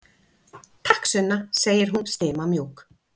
Takk, Sunna, segir hún stimamjúk.